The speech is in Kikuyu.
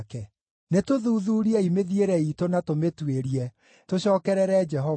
Nĩtũthuthuurie-i mĩthiĩre iitũ na tũmĩtuĩrie, tũcokerere Jehova.